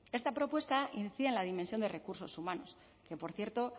esta propuesta incide en la dimensión de recursos humanos que por cierto